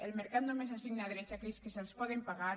el mercat només assigna drets a aquells que se’ls poden pagar